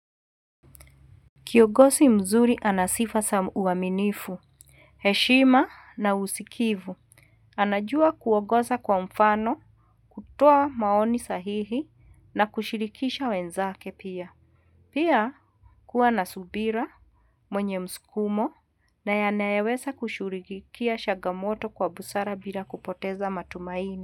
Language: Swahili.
Kiongozi mzuri ana sifa za uaminifu, heshima na usikivu. Anajua kuongzsa kwa mfano, kutoa maoni sahihi na kushirikisha wenzake pia. Pia kuwa na subira, mwenye mskumo na anayeweza kushughulikia chagamoto kwa busara bila kupoteza matumaini.